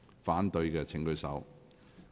反對的請舉手。